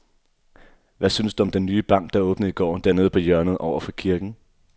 Hvad synes du om den nye bank, der åbnede i går dernede på hjørnet over for kirken?